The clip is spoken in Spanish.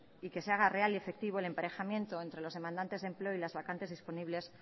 y que se haga real y efectivo el emparejamiento entre los demandantes de empleo y las vacantes disponibles